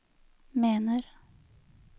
mener